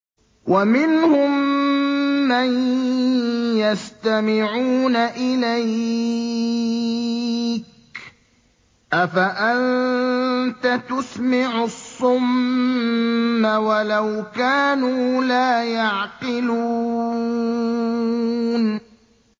وَمِنْهُم مَّن يَسْتَمِعُونَ إِلَيْكَ ۚ أَفَأَنتَ تُسْمِعُ الصُّمَّ وَلَوْ كَانُوا لَا يَعْقِلُونَ